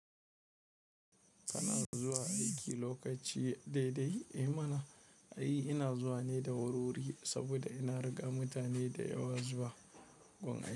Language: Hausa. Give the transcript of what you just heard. Kana zuwa aiki lokaci daidai? Eh mana, ai ina zuwa ne da wurwuri saboda ina riga mutane da yawa zuwa gun aiki.